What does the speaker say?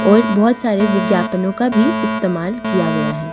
और बहुत सारे विज्ञापनों का भी इस्तेमाल किया गया है।